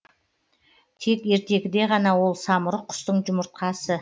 тек ертегіде ғана ол самұрық құстың жұмыртқасы